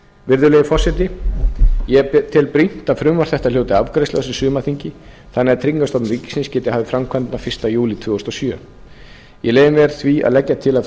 virðulegi forseti ég tel brýnt að frumvarp þetta hljóti afgreiðslu á þessu sumarþingi þannig að tryggingastofnun ríkisins geti hafið framkvæmdina fyrsta júlí tvö þúsund og sjö ég leyfi mér því að leggja til að